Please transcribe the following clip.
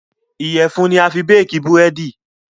Iyẹ̀fun ni a fi béèkí Búrẹ́dì